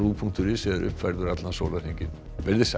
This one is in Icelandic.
punktur is er uppfærður allan sólarhringinn verið þið sæl